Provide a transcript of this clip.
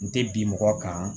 N tɛ bi mɔgɔ kan